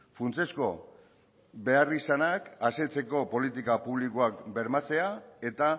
funtsezko beharrizanak asetzeko politika publikoak bermatzea eta